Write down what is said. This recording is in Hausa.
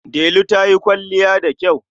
Delu ta yi kwalliya da kyau.